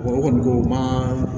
O kɔni ko o ma